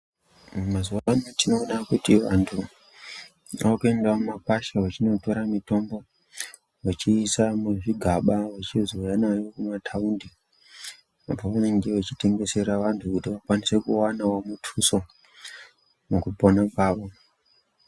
Mazuva ano tinoona kuti vantu vanopinda mumakwasha vachindotora mitombo vechiisa muzvigaba vachizouya nayo kumataundi pavanenge vachitengesera vantu vakwanisewo kuwana mutuso mukupona kwawo.